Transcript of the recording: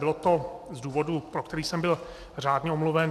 Bylo to z důvodu, pro který jsem byl řádně omluven.